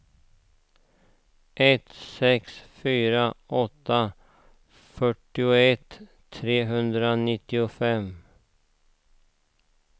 ett sex fyra åtta fyrtioett trehundranittiofem